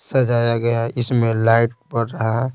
सजाया गया है इसमें लाइट पड़ रहा --